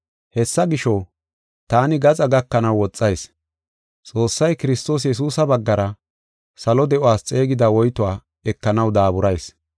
Hessa gisho, taani gaxa gakanaw woxayis. Xoossay Kiristoos Yesuusa baggara salo de7uwas xeegida woytuwa ekanaw daaburayis.